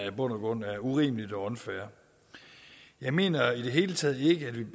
i bund og grund er urimeligt og unfair jeg mener i det hele taget ikke at vi